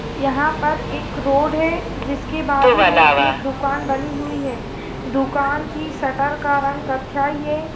यहाँ पर एक रोड है जिसके बाजू में एक दुकान बनी हुई है दुकान की शटर का रंग कथ्याई हैं।